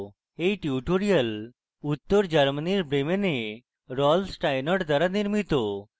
এই টিউটোরিয়াল উত্তর germany bremen rolf steinort দ্বারা নির্মিত